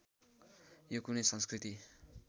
यो कुनै संस्कृति